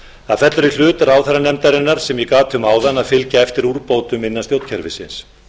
það fellur í hlut ráðherranefndarinnar sem ég gat um áðan að fylgja eftir úrbótum innan stjórnkerfisins